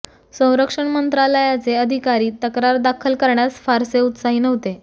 संरक्षण मंत्रालयाचे अधिकारी तक्रार दाखल करण्यास फारसे उत्साही नव्हते